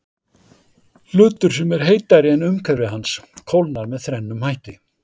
Hlutur sem er heitari en umhverfi hans kólnar með þrennum hætti.